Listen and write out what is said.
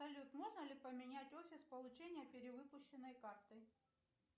салют можно ли поменять офис получения перевыпущенной карты